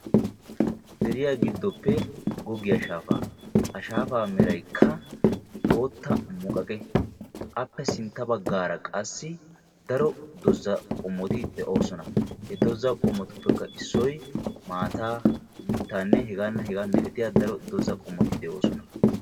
Deriyaa giddoppe goggiyaa shaafaa, ha shaafaa meraykka bootta muqaqqe, appe sintta bagaara qassi daro dozza qommoti de'oososna. dozza qommotuppe issoy maaataa mitaanee hegaanne hegaa milattiyaageeta.